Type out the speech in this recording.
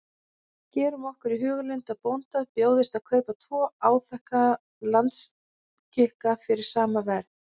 Gerum okkur í hugarlund að bónda bjóðist að kaupa tvo áþekka landskika fyrir sama verð.